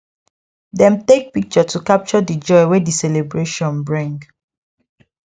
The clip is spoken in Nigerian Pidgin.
dem take picture to capture the joy wey the celebration bring